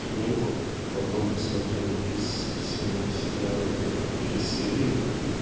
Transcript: книгу потом посмотрел из всего сериала только три серии